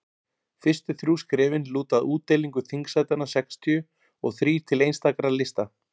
fyrstu þrjú skrefin lúta að útdeilingu þingsætanna sextíu og þrír til einstakra lista